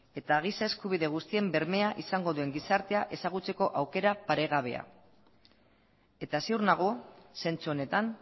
eta giza eskubide guztien bermea izango duen gizartea ezagutzeko aukera paregabea eta ziur nago zentsu honetan